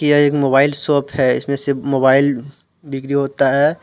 यह एक mobile shop है इसमें सिर्फ मोबाइल बिक्रि होता है।